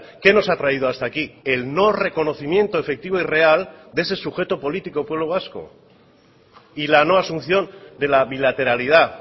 qué nos ha traído hasta aquí el no reconocimiento efectivo y real de ese sujeto político pueblo vasco y la no asunción de la bilateralidad